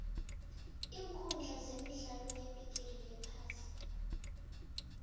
iinkundla zemidlalo yebhigiri yephasi